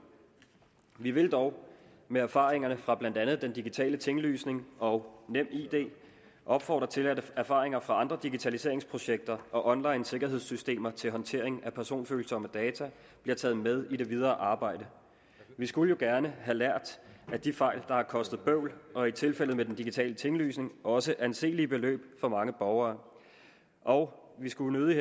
vi vil dog med erfaringerne fra blandt andet den digitale tinglysning og nemid opfordre til at erfaringer fra andre digitaliseringsprojekter og online sikkerhedssystemer til håndtering af personfølsomme data bliver taget med i det videre arbejde vi skulle jo gerne have lært af de fejl der har kostet bøvl og som i tilfældet med den digitale tinglysning også anselige beløb for mange borgere og vi skulle nødig